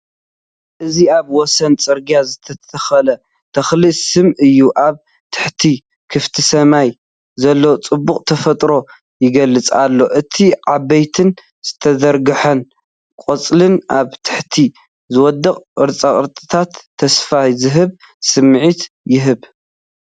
እዚ ኣብ ወሰን ጽርግያ ዝተተኽሉ ተክሊ ስየ እዩ። ኣብ ትሕቲ ክፉት ሰማይ ዘሎ ጽባቐ ተፈጥሮ ይገልጹ ኣሎ። እቲ ዓበይትን ዝተዘርግሑን ቆጽልን ኣብ ታሕቲ ዝወድቁ ቅርጽታትን ተስፋ ዝህብ ስምዒት ይህቡ።